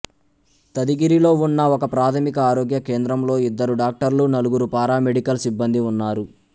తదిగిరిలో ఉన్న ఒకప్రాథమిక ఆరోగ్య కేంద్రంలో ఇద్దరు డాక్టర్లు నలుగురు పారామెడికల్ సిబ్బందీ ఉన్నారు